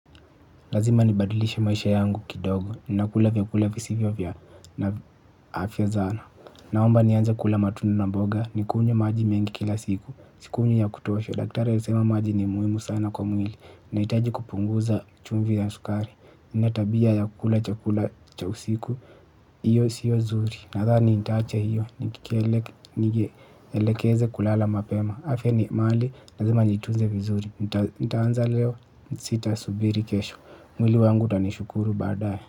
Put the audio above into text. Lazima nibadilishe maisha yangu kidogo ninakula vyakula visivyo vya afya sana naomba nianze kula matunda na mboga nikunywe maji mengi kila siku sikunywi ya kutosha daktari alisema maji ni muhimu sana kwa mwili nahitaji kupunguza chumvi na sukari nina tabia ya kula cha kula cha usiku, hiyo siyo zuri nadhani nitaacha hiyo, nielekeze kulala mapema afya ni mali, lazima niitunze vizuri, nitaanza leo sitasubiri kesho mwili wangu utanishukuru baadaye.